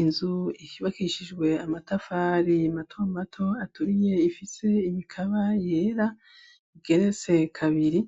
Inzu yubakishijwe amatafari matomato aturiye ifise imikaba yera, igeretse kabiri,